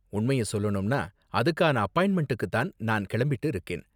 உண்மைய சொல்லணும்னா, அதுக்கான அப்பாயிண்ட்மென்டுக்கு தான் நான் கிளம்பிட்டு இருக்கேன்.